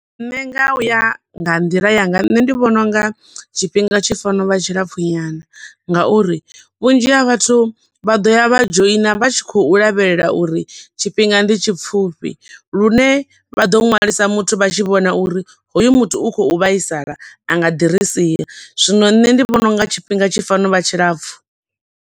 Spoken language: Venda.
Nṋe nga uya nga nḓila yanga nṋe vhona unga tshifhinga tshi fanela u vha tshilapfu nyana, nga uri vhunzhi ha vhathu vha ḓo ya vha dzhoina vha tshi khou lavhelela uri tshifhinga ndi tshipfufhi, lune vha ḓo ṅwalisa muthu vha tshi vhona uri hoyo muthu u khou vhaisala a nga ḓi ri sia. Zwino nṋe ndi vhona unga tshifhinga tshifanela u vha tshilapfu.